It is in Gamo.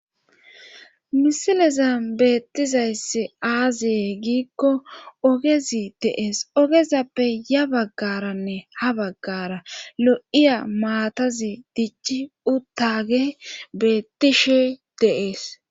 Misileza beettizayss aaziye giikko ogezi dees ogezappe ya baggaranne ha baggara lo'iya maatazi dichi uttage beettishe deees